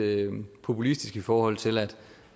populistisk i forhold til